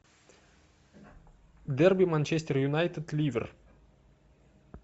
дерби манчестер юнайтед ливер